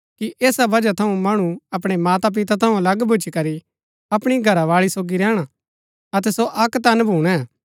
ऐसा बजह थऊँ मणु अपणै माता पिता थऊँ अलग भूच्ची करी अपणी घरावाळी सोगी रैहणा अतै सो अक्क तन भूणै